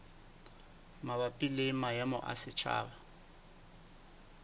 mabapi le maemo a setjhaba